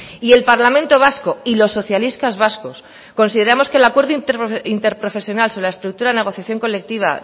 y el parlamento vasco y los socialistas vascos consideramos que el acuerdo interprofesional sobre la estructura negociación colectiva